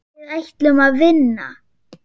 Við ætlum að vinna.